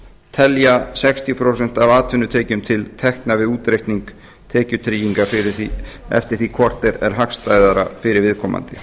telja sextíu prósent af atvinnutekjum til tekna við útreikning tekjutryggingar eftir því hvort er hagstæðara fyrir viðkomandi